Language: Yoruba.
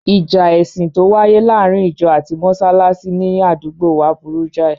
Ìjà ẹ̀sìn tó wáyé láàárín ìjọ ati mọsálásí ní àdúgbòo wa burú jáì.